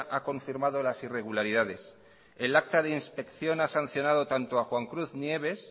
ha confirmado las irregularidades el acto de inspección ha sancionado tanto a juan cruz nieves